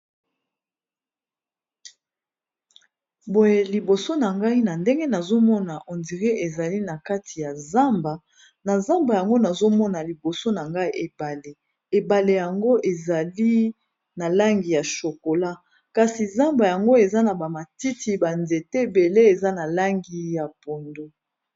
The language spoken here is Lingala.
Boye liboso na ngai na ndenge nazomona on dirait ezali na kati ya zamba na zamba yango nazomona liboso na ngai ebale ebale yango ezali na langi ya shokola kasi zamba yango eza na bamatiti banzete bele eza na langi ya pondu.